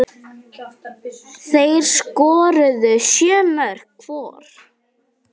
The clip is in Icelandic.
Þeir skoruðu sjö mörk hvor.